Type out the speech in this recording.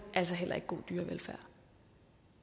heller ikke